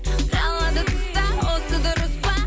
қалады тыста осы дұрыс па